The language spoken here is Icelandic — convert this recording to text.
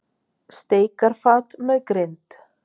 Steikarfat með grind.